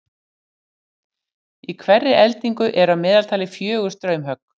í hverri eldingu eru að meðaltali fjögur straumhögg